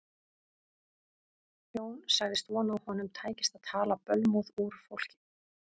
Jón sagðist vona að honum tækist að tala bölmóð úr fólki.